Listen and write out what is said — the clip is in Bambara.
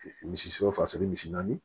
Misi sɔ fasigi misi naani